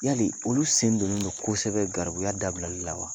Yali olu sen don ne do kosɛbɛ garibuya dabilali la wa